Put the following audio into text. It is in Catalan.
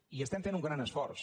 i estem fent un gran esforç